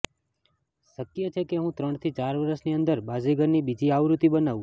શક્ય છે કે હું ત્રણથી ચાર વરસની અંદર બાઝીગરની બીજી આવૃત્તિ બનાવું